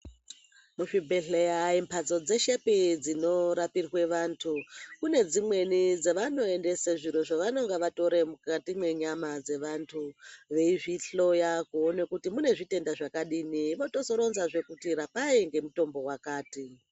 Muzvibhedhleya andimbatso dzeshepi dzinorapirwa vantu kune dzimweni dzavanoenda zviro zvinoendeswa zviro zvabanenge vatora mukati menyama dzevantu veizvihloya kuona kuti mune zvitenda zvakadini vozotoronzazve kuti rapai ngemutombo wakati.